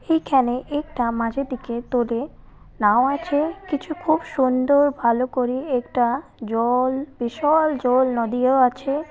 এইখানে একটা মাঝেরদিকে তোড়ে নাও আছে কিছু খুব সুন্দর ভাল করে একটা জল বিশাল জল নদীও আছে।